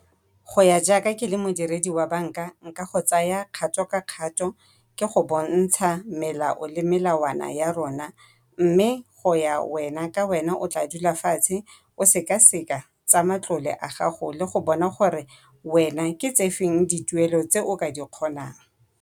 Go ya jaaka ke le modiredi wa banka nka go tsaya kgato ka kgato ke go bontsha melao le melawana ya rona, mme go ya wena ka wena o tla dula fatshe o sekaseka tsa matlole a gago le go bona gore wena ke tse feng dituelo tse o ka di kgonang.